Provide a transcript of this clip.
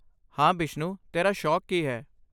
ਹਾਂ, ਬਿਸ਼ਨੂ ਤੇਰਾ ਸ਼ੌਕ ਕੀ ਹੈ?